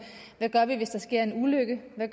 hvad vi gør hvis der sker en ulykke